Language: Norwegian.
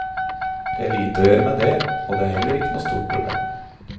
Det er lite å gjøre med det, og det er heller ikke noe stort problem.